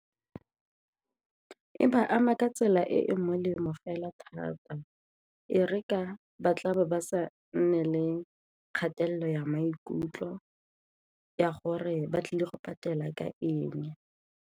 E ba ama ka tsela e e molemo fela thata e re ka ba tla bo ba sa nne le kgatelelo ya maikutlo ya gore ba tlile go patela ka eng.